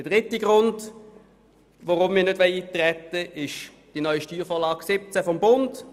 Der dritte Grund, weshalb wir nicht eintreten wollen, betrifft die neue Steuervorlage 2017 des Bundes.